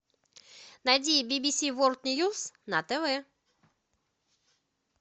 найди би би си ворлд ньюс на тв